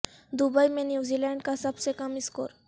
Dubai میں New Zealand کا سب سے کم اسکور